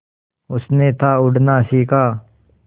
उसने था उड़ना सिखा